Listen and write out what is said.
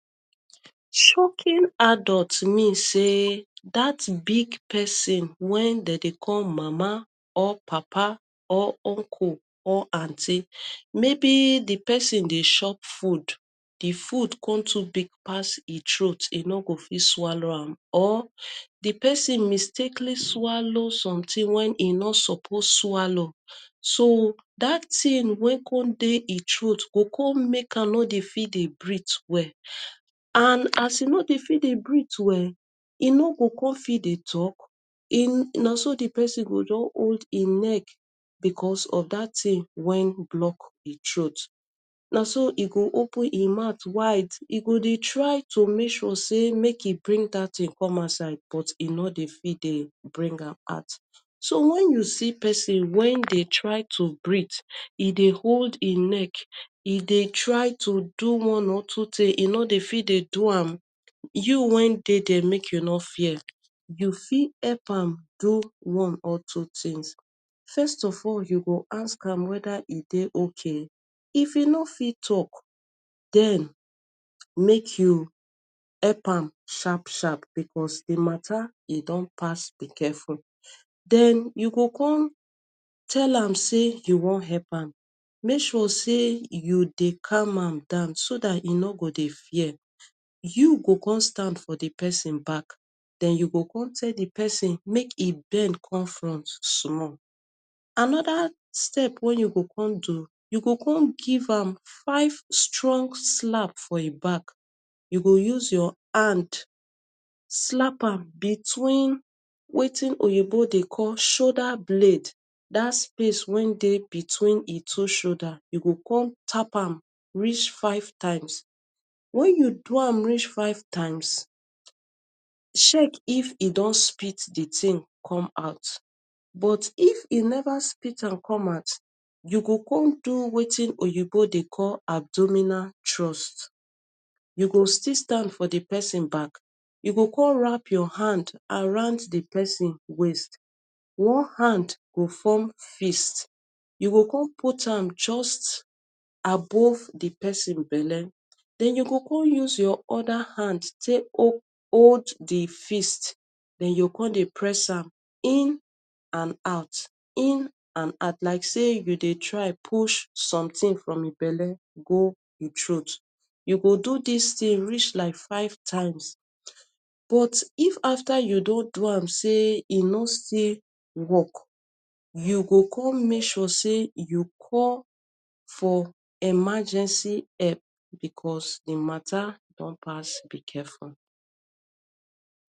shoking adult mean say dat big pesin wen de call mama or papa or uncle or aunty maybe di persin dey shop food di food con too big pass e throat e no go fi swalo am or di pesin mistakely swalo sometin wen him no suppose swallow so dat tin weycom dey e throat go com make am no dey fit dey breath well and as e no dey fit dey breath well e no go com fit dey talk e na so di person go just old him neck becos of dat tin wen block e throat na so e go open e mouth wide e go dey try to make sure say make e bring dat tin come outside but e no dey fit bring am out so wen you see person wen dey try to breath e dey hold e neck e dey try to do one or two tins e no dey fit dey do am you way dey there make you no fear you fit help am do one or two tins first of all you go ask am weda e dey ok if e no fit talk den make you help am sharp sharp becos him matter e don pass be careful den you go come tell am say you wan help am make sure say you dey calm am down so dat e no go dey fear you go come stand for di person back den you go come tell di person make e bend come front small another step wen you go come do you go come give am five strong slap for him back you go use your hand slap am between wetin oyibo dey call shoulder blade dat space wey dey in between him two shoulder you go come tap am reach five times wen you reach five times check if e don spit di tin come out but if e never spite am come out you go come do wetin oyibo dey call abdominal trust you go still stand for the person back you go come wrap your hand around di person waist one hand go form fist you go come put am just above di person belle den you go come use your other hand take hold di fist den you go come dey press am in and out in and out like say you dey try push sometin from him belle go e throat you go do dis tin reach like five times but if after you don do am say e no still work you go come make sure say you call for emergency help becos him matter don pass be careful.